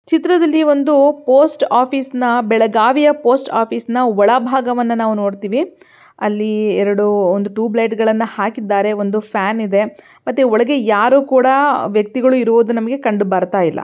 ಚಿತ್ರದಲ್ಲಿ ಒಂದು post office ನ ಬೆಳಗಾವಿಯ ಪೋಸ್ಟ್ ಆಫೀಸ್ ನ ಒಳಭಾಗವನ್ನು ನಾವು ನೋಡ್ತಿವಿ ಅಲ್ಲಿ ಎರಡು ಟ್ಯೂಬ್ಲೈಟ್ಗಳನ್ನ ಹಾಕಿದ್ದಾರೆ ಒಂದು ಫ್ಯಾನ್ ಇದೆ ಮತ್ತೆ ಒಳಗೆ ಯಾರು ಕೂಡ ವ್ಯಕ್ತಿಗಳು ಇರುವುದು ನಮಗೆ ಕಂಡು ಬರುತ್ತಿಲ್ಲ.